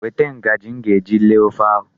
Weta ngaji m ga-eji lee ofe ahụ.